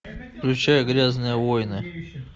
включай грязные войны